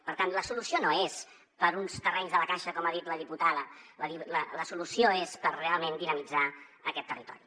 per tant la solució no és per uns terrenys de la caixa com ha dit la diputada la solució és per realment dinamitzar aquest territori